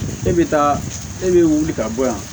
E bɛ taa e bɛ wuli ka bɔ yan